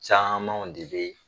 Camanw de be